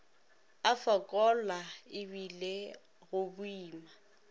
a fokola ebile go boima